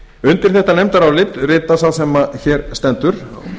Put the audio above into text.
undir þetta nefndarálit rita sá sem hér stendur